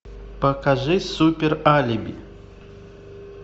покажи супералиби